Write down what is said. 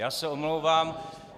Já se omlouvám...